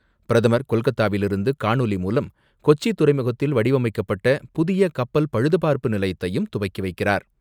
பிரதமர் கொல்கத்தாவிலிருந்து காணொலி மூலம், கொச்சி துறைமுகத்தில் வடிவமைக்கப்பட்ட புதிய கப்பல் பழுதுபார்ப்பு நிலையத்தையும் துவக்கி வைக்கிறார்.